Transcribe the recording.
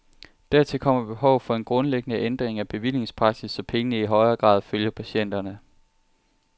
Dertil kommer behovet for en grundlæggende ændring af bevillingspraksis, så pengene i højere grad følger patienterne.